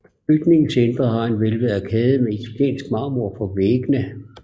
Bygningens indre har en hvælvet arkade med italiensk marmor på væggene